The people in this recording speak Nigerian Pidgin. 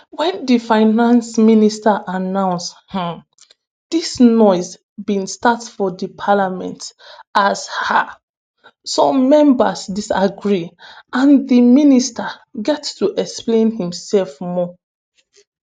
wen di finance minister announce um dis noise bin start for di parliament as um some members disagree and di minister get to explain imsef more.